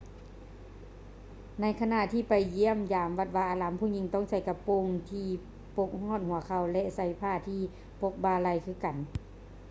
ໃນຂະນະທີ່ໄປຢ້ຽມຢາມວັດວາອາຮາມ ຜູ້ຍິງຕ້ອງໃສ່ກະໂປງທີ່ປົກຮອດຫົວເຂົ່າ ແລະ ໃສ່ຜ້າທີ່ປົກບ່າໄຫຼ່ຄືກັນ